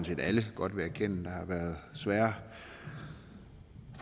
set alle godt vil erkende der har været svære